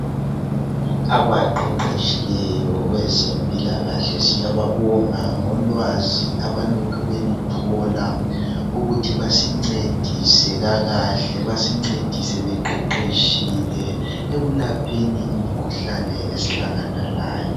Abaqeqeshileyo kwezempilakahle siyababonga ngolwazi abalokhe beluthola ukuthi basincedise kakahle, basincedise beqeqeshile ekulapheni imikhuhlane esihlangana layo.